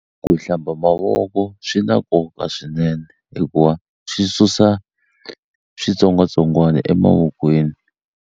Ku hlamba mavoko swi na nkoka swinene hikuva swi susa switsongwatsongwana emavokweni.